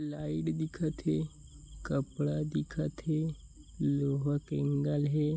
Light दिखत हे कपड़ा दिखत हे लोहा के एंगल हे।